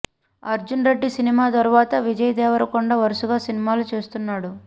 Arjun Reddy cinema తరువాత విజయ్ దేవరకొండ వరుసగా సినిమాలు చేస్తున్నాడు